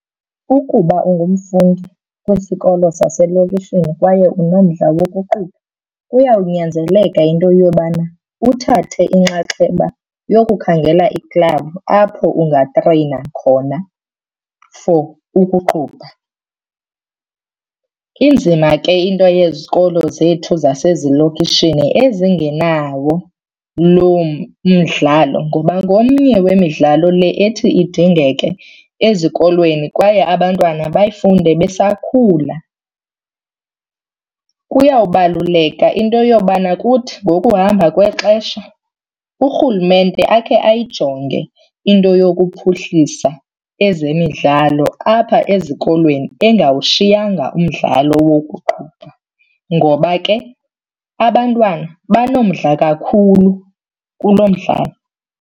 Ukuba ungumfundi kwisikolo saselokishini kwaye unomdla wokuqubha kuyawunyanzeleka into yobana uthathe inxaxheba yokukhangela iklabhu apho ungatreyina khona for ukuqubha. Inzima ke into yezikolo zethu zasezilokishini ezingenawo loo mdlalo ngoba ngomnye wemidlalo le ethi idingeke ezikolweni kwaye abantwana bayifunde besakhula. Kuyawubaluleka into yobana kuthi ngokuhamba kwexesha urhulumente akhe ayijonge into yokuphuhlisa ezemidlalo apha ezikolweni engawushiyanga umdlalo wokuqubha ngoba ke abantwana banomdla kakhulu kulo mdlalo.